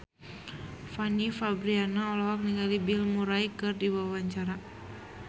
Fanny Fabriana olohok ningali Bill Murray keur diwawancara